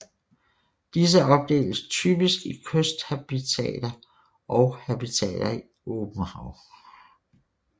Disse opdeles typisk i kysthabitater og habitater i åbent hav